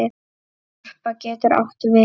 Harpa getur átt við